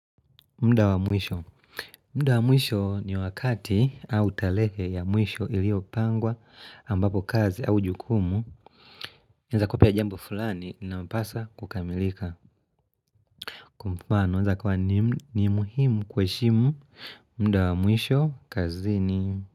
Mda wa mwisho ni wakati au tarehe ya mwisho iliopangwa ambapo kazi au jukumu Naeza kupa jambo fulani na mpasa kukamilika Kwa mfano inaeza kuwa ni muhimu kuheshimu mdawamwisho kazini.